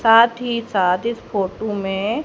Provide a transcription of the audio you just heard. साथ ही साथ इस फोटू में--